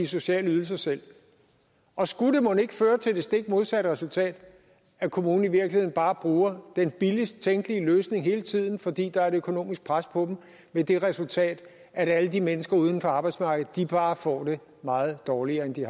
sociale ydelser selv og skulle det mon ikke føre til det stik modsatte resultat at kommunen i virkeligheden bare bruger den billigst tænkelige løsning hele tiden fordi der er et økonomisk pres på den med det resultat at alle de mennesker uden for arbejdsmarkedet bare får det meget dårligere end de